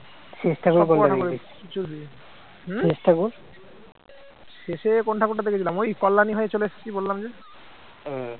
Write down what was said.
শেষে কোন ঠাকুরটা দেখেছিলাম ওই কল্যাণী হয়ে চলে এসেছি বললাম যে,